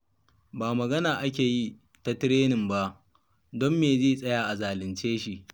Ba magana ake yi ta tirenin ba? Don me zai tsaya a zalunce shi?